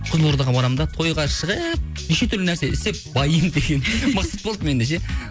қызылордаға барамын да тойға шығып неше түрлі нәрсе істеп баимын деген мақсат болды менде ше